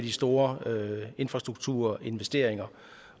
de store infrastrukturinvesteringer